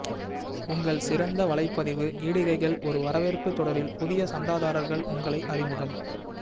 உங்கள் சிறந்த வலைப்பதிவு இடுகைகள் ஒரு வரவேற்பு தொடரில் புதிய சந்தாதாரர்கள் உங்களை அறிமுகம்